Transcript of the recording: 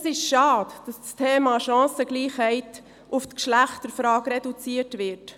Es ist schade, dass das Thema Chancengleichheit auf die Geschlechterfrage reduziert wird.